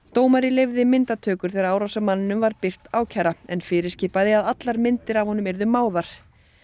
dómari leyfði myndatökur þegar árásarmanninum var birt ákæra en fyrirskipaði að allar myndir af honum yrðu máðar